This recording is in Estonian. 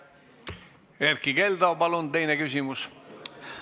Erkki Keldo, palun teine küsimus!